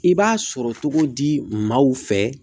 I b'a sɔrɔ togo di maaw fɛ